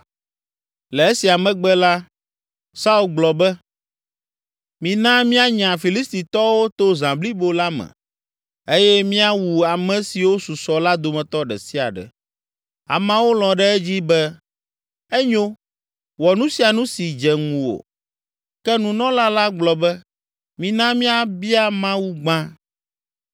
Le esia megbe la, Saul gblɔ be, “Mina míanya Filistitɔwo to zã blibo la me eye míawu ame siwo susɔ la dometɔ ɖe sia ɖe.” Ameawo lɔ̃ ɖe edzi be, “Enyo; wɔ nu sia nu si dze ŋuwò.” Ke nunɔla la gblɔ be, “Mina míabia Mawu gbã.”